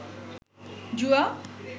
জুয়া